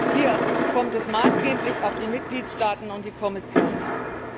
Hier kommt es maßgeblich auf die Mitgliedstaaten und auf die Kommission an.